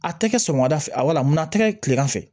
A tɛ kɛ sɔgɔmada fɛ mun a tɛ kɛ tilegan fɛ